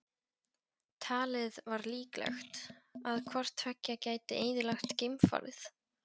Talið var líklegt, að hvort tveggja gæti eyðilagt geimfarið.